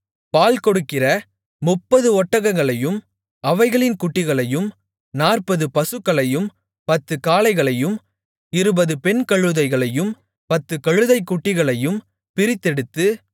பால் கொடுக்கிற முப்பது ஒட்டகங்களையும் அவைகளின் குட்டிகளையும் நாற்பது பசுக்களையும் பத்துக் காளைகளையும் இருபது பெண் கழுதைகளையும் பத்துக் கழுதைக்குட்டிகளையும் பிரித்தெடுத்து